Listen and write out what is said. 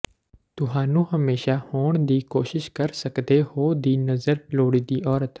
ਤੁਹਾਨੂੰ ਹਮੇਸ਼ਾ ਹੋਣ ਦੀ ਕੋਸ਼ਿਸ਼ ਕਰ ਸਕਦੇ ਹੋ ਦੀ ਨਜ਼ਰ ਲੋੜੀਦੀ ਔਰਤ